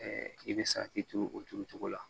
i bɛ saki turu o turu cogo la